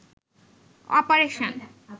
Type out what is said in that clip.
operation